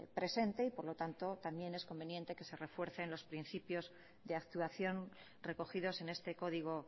presente y por lo tanto también es conveniente que se refuercen los principios de actuación recogidos en este código